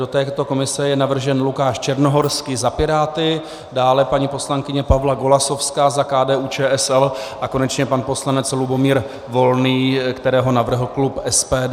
Do této komise je navržen Lukáš Černohorský za Piráty, dále paní poslankyně Pavla Golasowská za KDU-ČSL a konečně pan poslanec Lubomír Volný, kterého navrhl klub SPD.